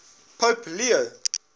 pope leo